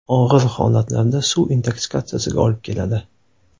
Og‘ir holatlarda suv intoksikatsiyasiga olib keladi.